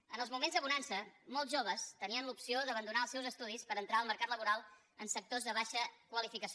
en els moments de bonança molts joves tenien l’opció d’abandonar els seus estudis per entrar al mercat laboral en sectors de baixa qualificació